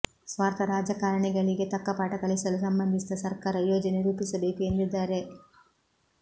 ಸ್ವಾರ್ಥ ರಾಜಕಾರಣಿಗಳಿಗೆ ತಕ್ಕ ಪಾಠ ಕಲಿಸಲು ಸಂಬಂಧಿಸಿದ ಸರ್ಕಾರ ಯೋಜನೆ ರೂಪಿಸಬೇಕು ಎಂದಿದ್ದಾರೆ